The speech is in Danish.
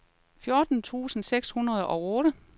fjorten tusind seks hundrede og otte